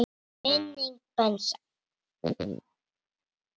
Blessuð sé minning Bensa.